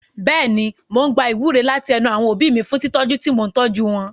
Bẹ́ẹ̀ni, mò ń gba ìwúre láti ẹnu àwọn òbí mi fún tìtọ́jú tí mò ń tọ́jú wọn.